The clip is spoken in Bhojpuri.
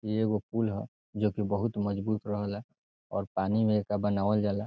इ एगो पूल ह जोकि बहुत मजबूत रहले और पानी में एकरा बनावल जाला।